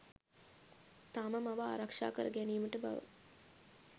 තම මව ආරක්ෂා කරගැනීමට බව